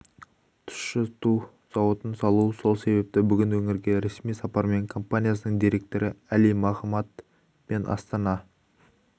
тұщыту зауытын салу сол себепті бүгін өңірге ресми сапармен компаниясының директоры әли мохамад пен астана